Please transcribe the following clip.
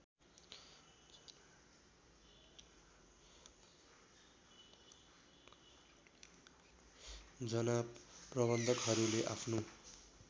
जना प्रबन्धकहरूले आफ्नो